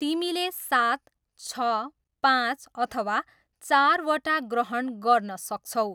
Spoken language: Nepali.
तिमीले सात, छ, पाँच अथवा चारवटा ग्रहण गर्न सक्छौ।